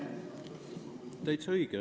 Täitsa õige.